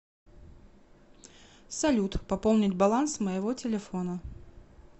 салют пополнить баланс моего телефона